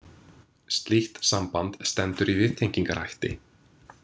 Slíkt samband stendur í viðtengingarhætti.